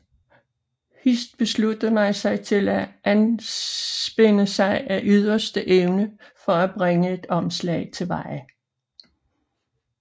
Hist besluttede man sig til at anspænde sig af yderste evne for at bringe et omslag til veje